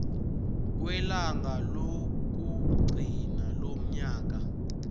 kwelanga lokugcina lonyaka